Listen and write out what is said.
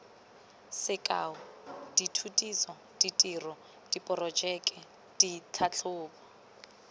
sekao dithutiso ditiro diporojeke ditlhatlhobo